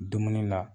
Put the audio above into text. Dumuni na